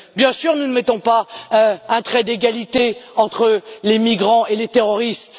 Bien sûr que nous ne mettons pas un trait d'égalité entre les migrants et les terroristes.